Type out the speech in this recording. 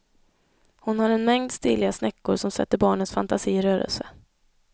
Hon har en mängd stiliga snäckor som sätter barnens fantasi i rörelse.